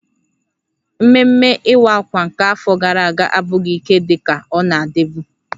Ememme Iwa Akwa nke afọ gara aga abụghị ike dị ka ọ na-adịbu